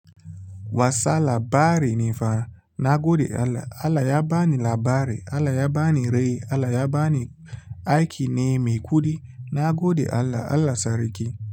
Wasa labarai ne fa. Na gode Allah. Allah ya ba ni labari, Allah ya ba ni rai, Allah ya ba ni aiki ne mai kuɗi. Nagode Allah. Allah sarki.